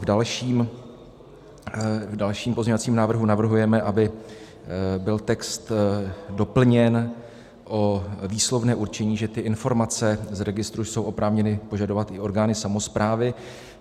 V dalším pozměňovacím návrhu navrhujeme, aby byl text doplněn o výslovné určení, že ty informace z registru jsou oprávněny požadovat i orgány samosprávy.